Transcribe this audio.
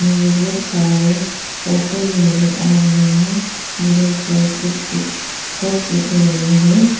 मुझे बहुत सारे पोस्टर भी नजर आ रहे है जिने पर कुछ कुछ थॉट्स लिखे गए है।